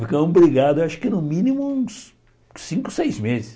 Ficamos brigados, acho que no mínimo uns cinco, seis meses.